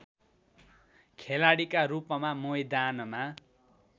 खेलाडीका रूपमा मैदानमा